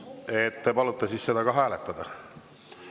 Et te palute siis seda ka hääletada?